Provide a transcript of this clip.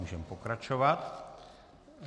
Můžeme pokračovat.